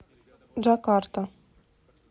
джакарта